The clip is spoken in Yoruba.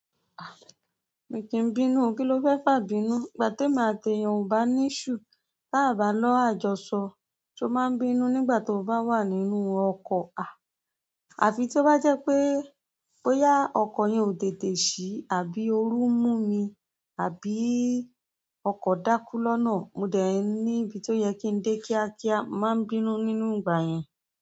Mi kìí bínú, kí ló fẹ́ fà bínú? Ìgbà tí èmi a tẹyàn ò bá ní iṣu tábàá lọ́rọ̀ àjọṣọ, ṣo máa ń bínú nígbà tó bá wà nínú ọkọ̀ à? Àfi tí ó bá jẹ́ pé, bóyá ọkọ̀ yẹn ò tètè ṣí àbí ooru mú mi, àbí ọkọ̀ dákú lọ́nà. Mo dẹ̀ ní ibi tó yẹ kí ń dé kíákíá, máa ń bínú nínú ìgbà yẹn.